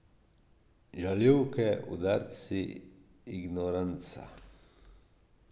Žaljivke, udarci, ignoranca.